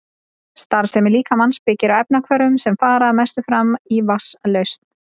Starfsemi líkamans byggir á efnahvörfum sem fara að mestu fram í vatnslausn.